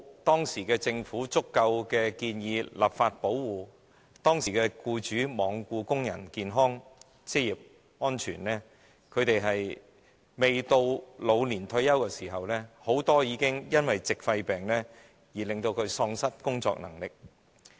當時政府沒有建議立法以提供足夠保護，僱主亦罔顧工人的健康和職業安全，以致很多工人未屆老年退休時，已經因為矽肺病而喪失工作能力。